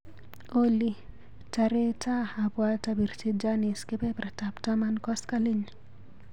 Olly, taretaa abwat apirchi Janice kebertab taman koskoliny.